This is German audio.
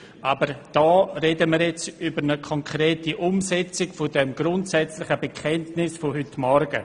Hier sprechen wir über eine konkrete Umsetzung dieses grundsätzlichen Bekenntnisses von heute Morgen.